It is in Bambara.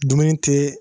Dumuni tɛ